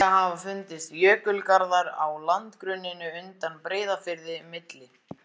Nýlega hafa fundist jökulgarðar á landgrunninu undan Breiðafirði, milli